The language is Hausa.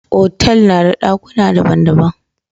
Otal na da dakuna daban-daban.